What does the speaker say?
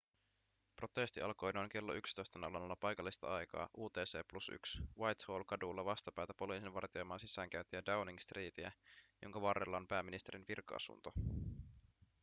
protesti alkoi noin klo 11.00 paikallista aikaa utc+1 whitehall-kadulla vastapäätä poliisin vartioimaa sisäänkäyntiä downing streetiä jonka varrella on pääministerin virka-asunto